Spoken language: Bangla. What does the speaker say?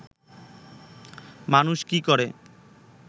মানুষ কি করে